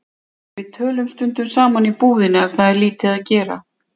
Við tölum stundum saman í búðinni ef það er lítið að gera.